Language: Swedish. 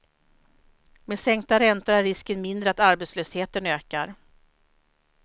Med sänkta räntor är risken mindre att arbetslösheten ökar.